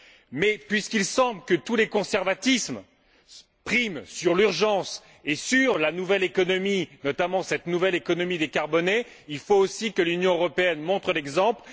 Mais puisqu'il semble que tous les conservatismes priment sur l'urgence et sur la nouvelle économie, notamment, cette nouvelle économie décarbonée, il faut aussi que l'Union européenne montre l'exemple.